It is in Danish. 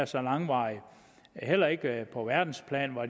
så langvarig heller ikke på verdensplan var